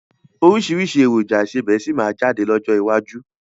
Oríṣiríṣi èròjà ìsebẹ́ síí má jáde lọ́jọ́ iwájú